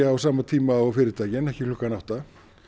á sama tíma og fyrirtækin ekki klukkan átta